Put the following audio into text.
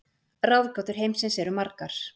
Ráðgátur heimsins eru margar.